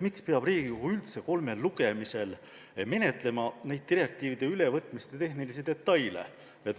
miks peab Riigikogu üldse kolmel lugemisel menetlema neid direktiivide detailse tehnilise ülevõtmise eelnõusid.